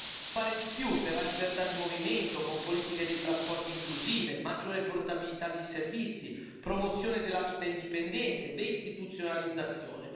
Dobbiamo fare di più per la libertà di movimento con politiche dei trasporti inclusive, maggiore portabilità dei servizi, promozione della vita indipendente, deistituzionalizzazione.